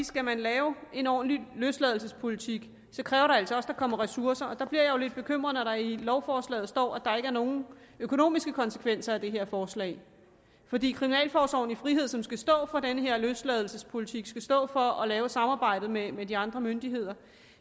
skal man lave en ordentlig løsladelsespolitik kræver det altså også at der kommer ressourcer der bliver jeg jo lidt bekymret når der i lovforslaget står at der ikke er nogen økonomiske konsekvenser af det her forslag fordi kriminalforsorgen i frihed som skal stå for den her løsladelsespolitik skal stå for at lave samarbejdet med med de andre myndigheder